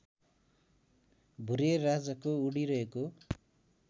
भुरेराजाको उडिरहेको